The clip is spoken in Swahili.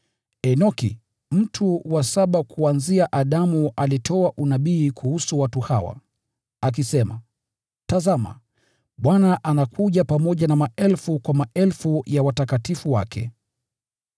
Enoki, mtu wa saba kuanzia Adamu alitoa unabii kuhusu watu hawa, akisema: “Tazama, Bwana anakuja pamoja na maelfu kwa maelfu ya watakatifu wake,